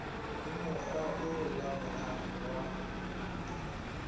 ho mokga o laolang wa